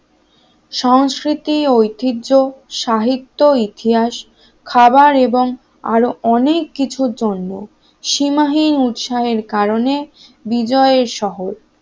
সংস্কৃতি ঐতিহ্য সাহিত্য ইতিহাস খাবার এবং আরো অনেক কিছুর জন্য সীমাহীন উৎসাহের কারণে বি জয়ের শহর